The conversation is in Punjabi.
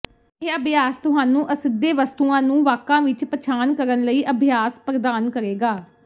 ਇਹ ਅਭਿਆਸ ਤੁਹਾਨੂੰ ਅਸਿੱਧੇ ਵਸਤੂਆਂ ਨੂੰ ਵਾਕਾਂ ਵਿੱਚ ਪਛਾਣ ਕਰਨ ਲਈ ਅਭਿਆਸ ਪ੍ਰਦਾਨ ਕਰੇਗਾ